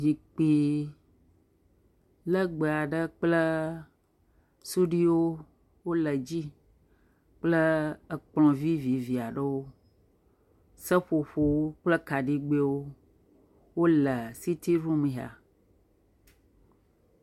Zikpui legbe aɖe kple suɖuiwo wole dzi kple ekplɔ vivivi aɖewo. Seƒoƒowo kple kaɖigbɛwo wole sitiɖum ya.